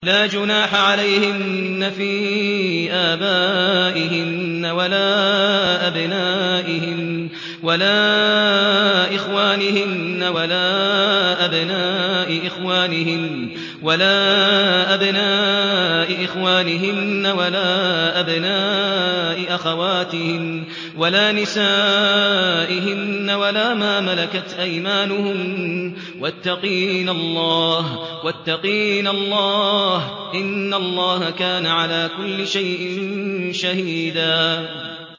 لَّا جُنَاحَ عَلَيْهِنَّ فِي آبَائِهِنَّ وَلَا أَبْنَائِهِنَّ وَلَا إِخْوَانِهِنَّ وَلَا أَبْنَاءِ إِخْوَانِهِنَّ وَلَا أَبْنَاءِ أَخَوَاتِهِنَّ وَلَا نِسَائِهِنَّ وَلَا مَا مَلَكَتْ أَيْمَانُهُنَّ ۗ وَاتَّقِينَ اللَّهَ ۚ إِنَّ اللَّهَ كَانَ عَلَىٰ كُلِّ شَيْءٍ شَهِيدًا